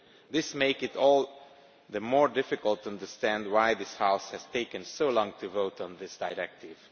This makes it all the more difficult to understand why this House has taken so long to vote on this directive.